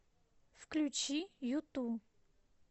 включи юту